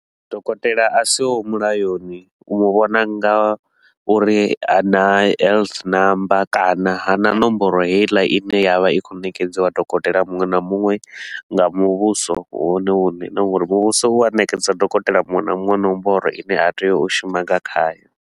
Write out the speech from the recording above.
Dokotela a si ho mulayoni u mu vhona nga uri ha na number kana ha na nomboro heiḽa i ne ya vha i khou ṋekedziwa dokotela muṅwe na muṅwe nga muvhuso wone hune na nga uri muvhuso u a ṋekedza dokotela muṅwe na muṅwe nomboro i ne a tea u shuma nga khayo.